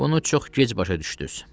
Bunu çox gec başa düşdüz.